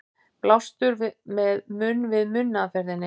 Blástur með munn-við-munn aðferðinni.